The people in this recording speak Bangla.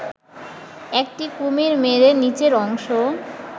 একটি কুমির মেরে নিচের অংশ